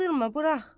Aldırma, burax.